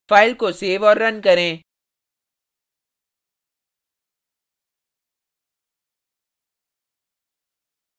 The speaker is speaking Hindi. file को सेव और रन करें